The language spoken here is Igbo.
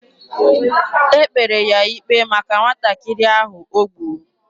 E kpere ya ikpe maka nwatakịrị ahụ o gburu.